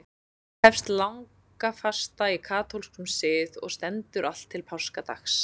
Þá hefst langafasta í katólskum sið og stendur allt til páskadags.